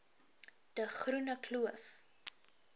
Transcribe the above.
de groene kloof